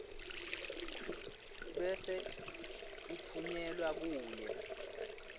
bese itfunyelwa kuwe